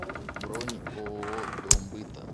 бронь ооо дом быта